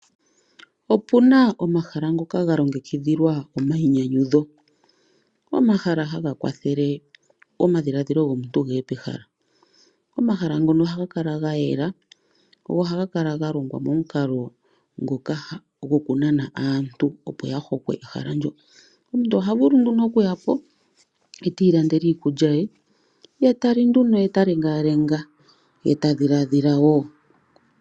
Opuna omahala ngoka ga longekidhilwa omayinyanyudho .omahala haga kwathele omadhiladhilo gomuntu geye pehala. omahala ngono ohaga kala gayela go ohaga kala ga longwa momukalo ngoka goku nana aantu opo ya hokwepo ehala ndyo. omuntu oha vulu nduno oku yapo eti landele iikulya ye , ye tali nduno ye ta lengalenga ye ta dhiladhilawo.